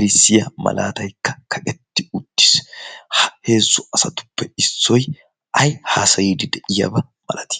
erisiyaa malaataikka kaqetti uttiis. heezzu asatuppe issoi ai haasayiidi de7iyaaba malati?